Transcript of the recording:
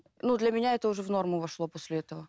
ну для меня это уже в норму вошло после этого